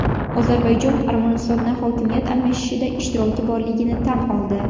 Ozarbayjon Armanistonda hokimiyat almashishida ishtiroki borligini tan oldi.